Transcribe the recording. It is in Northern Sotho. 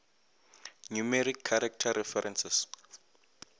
numeric character references